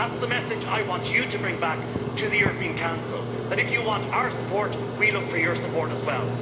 That's the message I want you to bring back to the European Council that, if you want our support, we look for your support as well.